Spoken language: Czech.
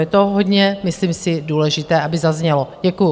Je to hodně myslím si důležité, aby zaznělo, děkuju.